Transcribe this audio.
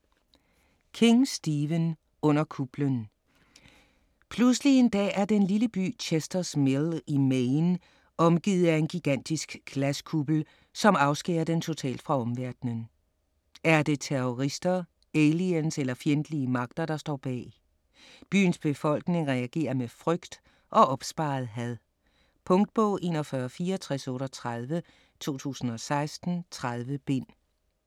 King, Stephen: Under kuplen Pludselig en dag er den lille by Chester's Mill i Maine omgivet af en gigantisk glaskuppel, som afskærer den totalt fra omverdenen. Er det terrorister, aliens eller fjendtlige magter der står bag? Byens befolkning reagerer med frygt og opsparet had. Punktbog 416438 2016. 30 bind.